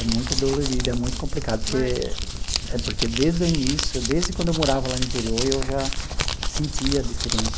É muito dolorido, é muito complicado, porque é porque desde o início, desde quando eu morava lá no interior, eu já sentia diferente.